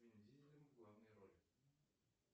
с вин дизелем в главной роли